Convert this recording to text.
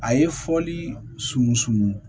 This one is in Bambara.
A ye fɔli sun